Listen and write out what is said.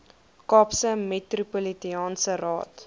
kaapse metropolitaanse raad